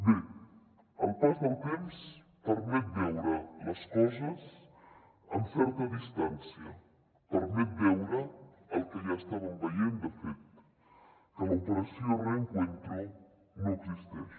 bé el pas del temps permet veure les coses amb certa distància permet veure el que ja estàvem veient de fet que l’operació reencuentro no existeix